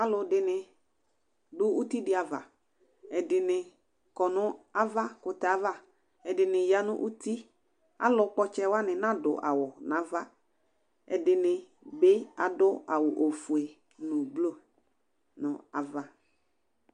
Alʋdini dʋ utidi ava ɛdini kɔ nʋ avakʋtɛ ava ɛdini yanʋ uti alʋ kpɔ ɔtsɛ wani nadʋ awʋ nʋ ava ɛdini bi adʋ awʋ ofue nʋ blu nʋ ava